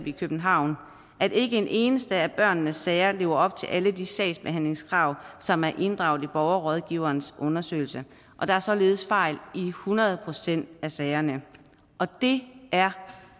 i københavn at ikke en eneste af børnene sager lever op til alle de sagsbehandlingskrav som er inddraget i borgerrådgiverens undersøgelse der er således fejl i hundrede procent af sagerne det er